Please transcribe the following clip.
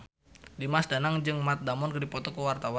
Dimas Danang jeung Matt Damon keur dipoto ku wartawan